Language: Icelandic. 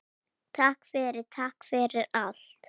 Takk fyrir, takk fyrir allt.